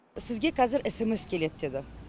сізге қазір смс келеді деді